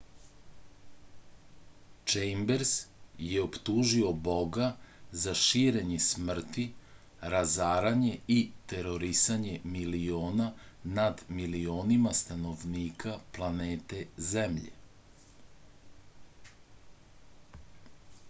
čejmbers je optužio boga za širenje smrti razaranje i terorisanje miliona nad milionima stanovnika planete zemlje